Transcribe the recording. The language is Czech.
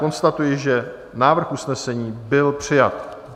Konstatuji, že návrh usnesení byl přijat.